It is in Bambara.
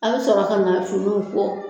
A bi sɔrɔ ka na finiw ko.